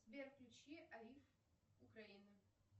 сбер включи аиф украина